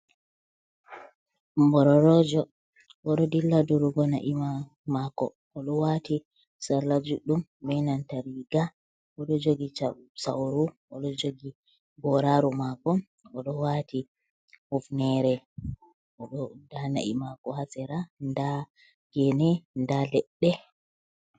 Bororojo o ɗo dilla durugo na’i maako. O ɗo waati sarla juɗɗum benanta riiga .O ɗo jogi sawru, o ɗo jogi goraaru maako, o ɗo waati hufneere, o ɗo ndaa na'i maako haa sera ,ndaa geene, ndaa leɗɗe.